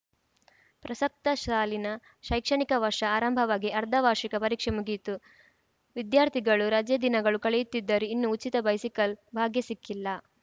ಪ್ರಸಕ್ತ ಸಾಲಿನ ಶೈಕ್ಷಣಿಕ ವರ್ಷ ಆರಂಭವಾಗಿ ಅರ್ಧ ವಾರ್ಷಿಕ ಪರೀಕ್ಷೆ ಮುಗಿಯಿತು ವಿದ್ಯಾರ್ಥಿಗಳು ರಜೆ ದಿನಗಳು ಕಳೆಯುತ್ತಿದ್ದರೂ ಇನ್ನೂ ಉಚಿತ ಬೈಸಿಕಲ್‌ ಭಾಗ್ಯ ಸಿಕ್ಕಿಲ್ಲ